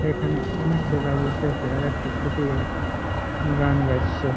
এখানে অনেক ছেলে বসে আছে আর একটা ছোটো গলা গান গাইছে।